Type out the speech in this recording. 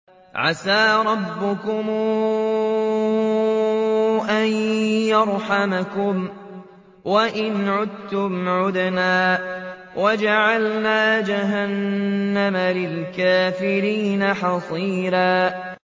عَسَىٰ رَبُّكُمْ أَن يَرْحَمَكُمْ ۚ وَإِنْ عُدتُّمْ عُدْنَا ۘ وَجَعَلْنَا جَهَنَّمَ لِلْكَافِرِينَ حَصِيرًا